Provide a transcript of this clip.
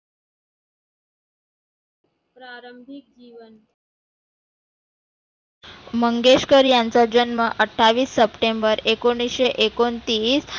प्रारंभीक जिवन. मंगेशकर यांचा जन्म अठ्ठावीस सप्टेंबर एकोणीसशे एकोणतीस